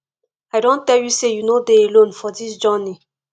i don tell you sey you no dey alone for dis journey